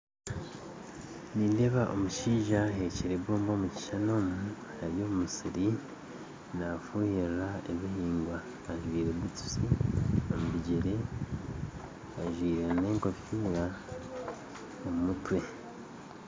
Nindeeba omushaija ahekyire ebomba omukishushani omu ari omu musiri nafuhirira ebihingwa, ajwire butusi ajwire nengofira omu mutwe